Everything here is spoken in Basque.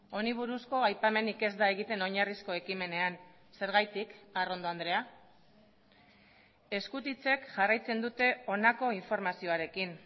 honi buruzko aipamenik ez da egiten oinarrizko ekimenean zergatik arrondo andrea eskutitzek jarraitzen dute honako informazioarekin